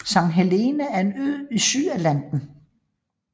Sankt Helena er en ø i Sydatlanten